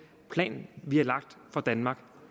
plan vi har lagt for danmark